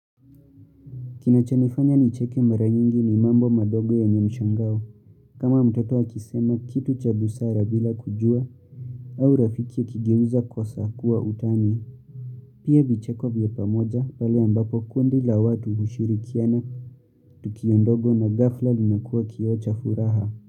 Kinachanifanya nicheke mara nyingi ni mambo madogo yenye mshangao. Kama mtoto akisema kitu cha busara bila kujua au rafiki akigeuza kosa kuwa utani. Pia vicheko vya pamoja pale ambapo kundi la watu hushirikiana. Tukiondogo na ghafla linakuwa kioo cha furaha.